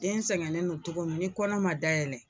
Den sɛgɛnnen don cogo min ni kɔnɔ ma dayɛlɛ